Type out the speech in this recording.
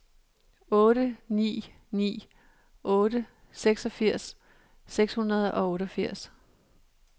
otte ni ni otte seksogfirs seks hundrede og otteogfirs